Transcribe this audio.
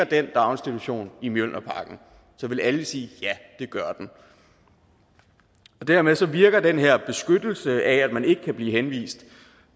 den daginstitution i mjølnerparken ville alle sige ja det gør den dermed virker den her beskyttelse af at man ikke kan blive henvist